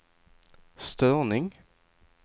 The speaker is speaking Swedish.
störning